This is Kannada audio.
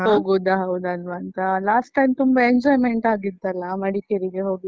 ಹೋಗುದಾ ಹೌದಾಲ್ವಾಂತ last time ತುಂಬ enjoyment ಆಗಿತ್ತಲ್ಲ ಮಡಿಕೇರಿಗೆ ಹೋಗಿ?